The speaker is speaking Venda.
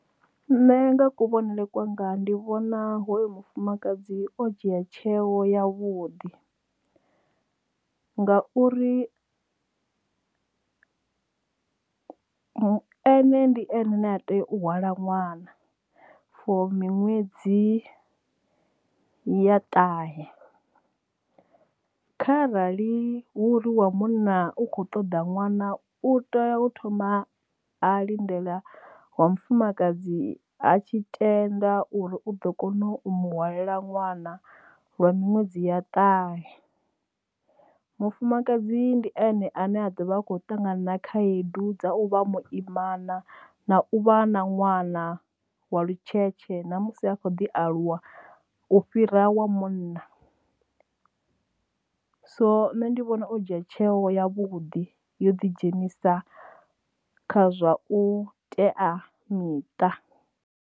Nṋe nga kuvhonele kwanga ndi vhona hoyo mufumakadzi o dzhia tsheo ya vhuḓi, ngauri ene ndi ene ane a tea u hwala ṅwana fo miṅwedzi ya ṱahe. Kha arali hu uri wa munna u kho ṱoḓa ṅwana u tea u thoma a lindela wa mufumakadzi ha tshi tenda uri u ḓo kona u muhwalela ṅwana lwa miṅwedzi ya ṱahe. Mufumakadzi ndi ene ane a ḓovha a kho ṱangana na khaedu dza u vha muimana na u vha na ṅwana wa lutshetshe ṋamusi a kho ḓi aluwa u fhira wa munna, so nṋe ndi vhona o dzhia tsheo ya vhuḓi yo ḓi dzhenisa kha zwa u teamiṱa.